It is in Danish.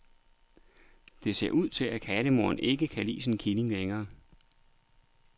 Det ser ud til, at kattemoren ikke kan lide sin killing længere.